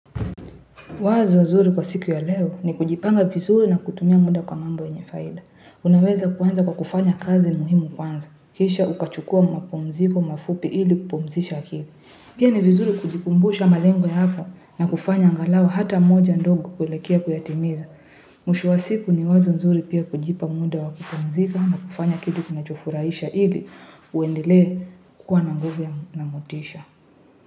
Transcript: Wazo nzuri kwa siku ya leo ni kujipanga vizuri na kutumia muda kwa mambo yenyefaida. Unaweza kuanza kwa kufanya kazi muhimu kwanza. Kisha ukachukua mapumziko, mafupi ili kupumzisha akili. Pia ni vizuri kujikumbusha malengo ya hapa na kufanya angalau hata moja ndogo kuelekea kuyatimiza. Mwisho wa siku ni wazo nzuri pia kujipa muda wa kupumzika na kufanya kitu kinacho furahisha ili uendelee kukua nanguvu na motisha.